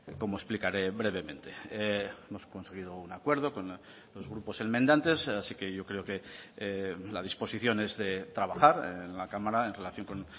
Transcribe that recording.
como explicaré brevemente hemos conseguido un acuerdo con los grupos enmendantes así que yo creo que la disposición es de trabajar en la cámara en relación con